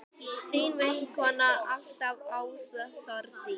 Þín vinkona alltaf, Ása Þórdís.